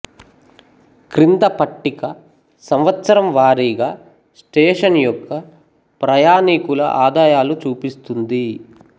క్రింద పట్టిక సంవత్సరం వారీగా స్టేషన్ యొక్క ప్రయాణీకుల ఆదాయాలు చూపిస్తుంది